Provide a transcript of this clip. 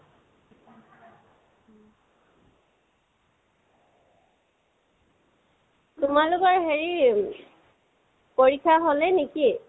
তোমালোকৰ হেৰি পৰীক্ষা হ'লে নেকি?